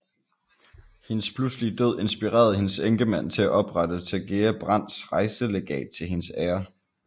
Hendes pludselige død inspirerede hendes enkemand til at oprette Tagea Brandts Rejselegat til hendes ære